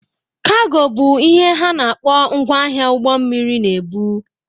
Kaago bụ ihe ha na-akpọ ngwa ahịa ụgbọ mmiri na-ebu.